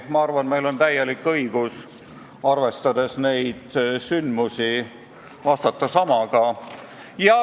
Ma arvan, et meil on täielik õigus, arvestades neid sündmusi, vastata samaga.